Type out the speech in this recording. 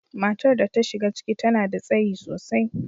Matar da ta shiga ciki, ta nada tsayi sosai.